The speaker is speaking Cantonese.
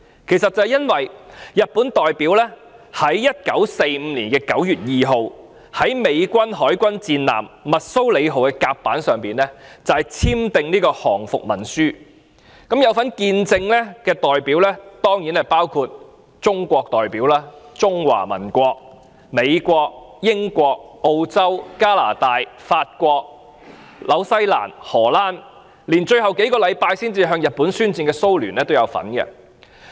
這是因為日本代表在1945年9月2日，於美國海軍戰艦密蘇里號的甲板上簽訂降伏文書，有份見證的代表當然包括中國、美國、英國、澳洲、加拿大、法國、新西蘭、荷蘭及最後數星期才向日本宣戰的蘇聯。